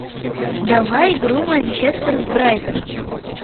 давай игру манчестер с брайтоном